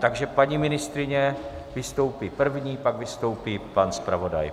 Takže paní ministryně vystoupí první, pak vystoupí pan zpravodaj.